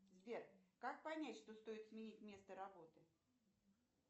сбер как понять что стоит сменить место работы